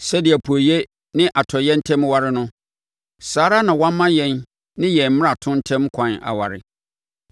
Sɛdeɛ apueeɛ ne atɔeɛ ntam ware no, saa ara na wama yɛn ne yɛn mmarato ntam kwan aware.